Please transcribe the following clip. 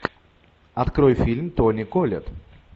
открой фильм тони коллетт